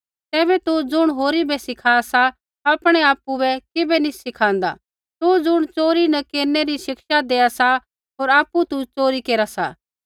तैबै तू ज़ुण होरी बै सिखा सा आपणै आपु बै किबै नी सिखाँदा तू ज़ुण च़ोरी नी केरनै री शिक्षा देआ सा होर आपु तू च़ोरी केरा सा